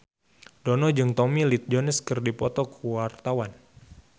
Dono jeung Tommy Lee Jones keur dipoto ku wartawan